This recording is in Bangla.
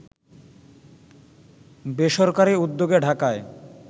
বেসরকারি উদ্যোগে ঢাকায়